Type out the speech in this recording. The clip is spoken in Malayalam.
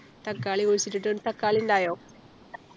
തക്കാളി കുഴിച്ചിട്ടിട്ട് തക്കാളി ഉണ്ടായോ